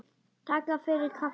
Takk fyrir kaffið.